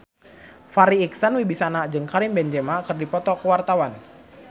Farri Icksan Wibisana jeung Karim Benzema keur dipoto ku wartawan